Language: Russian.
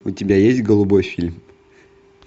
у тебя есть голубой фильм